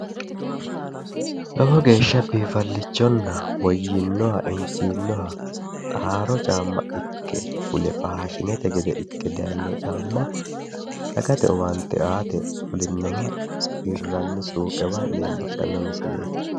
Lowo geeshsha biinfallichonna woyyinoha injiinoha haaro caamma ikke fule faashinete gede ikke dayino caamma dagate owaante aate fulinoha hirranni suuqewa leellishshanno misileeti.